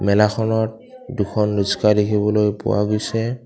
মেলাখনত দুখন ৰিক্সা দেখিবলৈ পোৱা গৈছে।